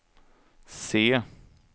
C